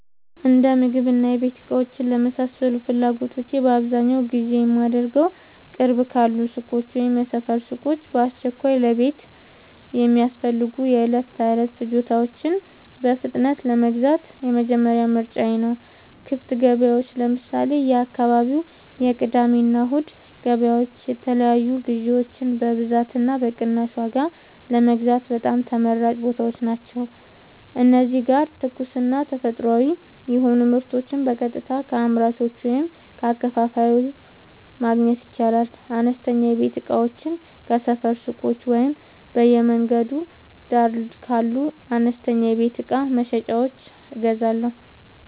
የእንደምግብና የቤት እቃዎች ለመሳሰሉት ፍላጎቶቼ በአብዛኛው ግዢ የማደርገዉ፦ ቅርብ ካሉ ሱቆች (የሰፈር ሱቆች)፦ በአስቸኳይ ለቤት የሚያስፈልጉ የዕለት ተዕለት ፍጆታዎችን በፍጥነት ለመግዛት የመጀመሪያ ምርጫየ ናቸው። ክፍት ገበያዎች (ለምሳሌ፦ የአካባቢው የቅዳሜና እሁድ ገበያዎች) የተለያዩ ግዥዎችን በብዛትና በቅናሽ ዋጋ ለመግዛት በጣም ተመራጭ ቦታዎች ናቸው። እዚህ ጋር ትኩስና ተፈጥሯዊ የሆኑ ምርቶችን በቀጥታ ከአምራቹ ወይም ከአከፋፋዩ ማግኘት ይቻላል። አነስተኛ የቤት እቃዎችን ከሰፈር ሱቆች ወይም በየመንገዱ ዳር ካሉ አነስተኛ የቤት እቃ መሸጫዎች እገዛለሁ።